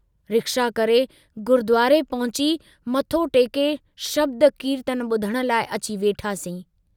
Rickshaw करे गुरुद्वारे पहुची, मथो टेके शब्द कीर्तन बुधण लाइ अची वेठासीं।